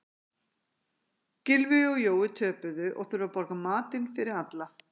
Gylfi og Jói töpuðu og þurfa að borga matinn fyrir alla.